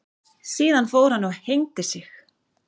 Síðan fór hann og hengdi sig.